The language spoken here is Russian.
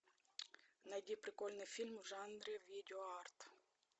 найди прикольный фильм в жанре видео арт